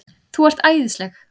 ÞÚ ERT ÆÐISLEG!